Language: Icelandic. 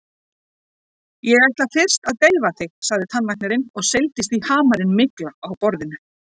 Ég ætla fyrst að deyfa þig, sagði tannlæknirinn og seildist í hamarinn mikla á borðinu.